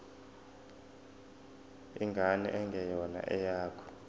ingane engeyona eyakho